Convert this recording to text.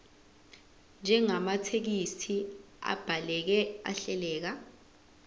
njengamathekisthi abhaleke ahleleka